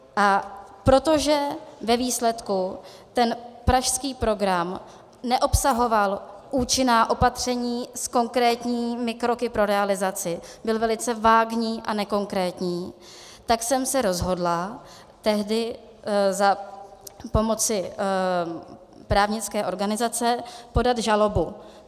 A protože ve výsledku ten pražský program neobsahoval účinná opatření s konkrétními kroky pro realizaci, byl velice vágní a nekonkrétní, tak jsem se rozhodla tehdy za pomoci právnické organizace podat žalobu.